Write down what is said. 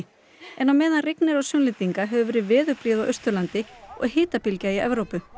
en á meðan rignir á Sunnlendinga hefur verið veðurblíða á Austurlandi og hitabylgja í Evrópu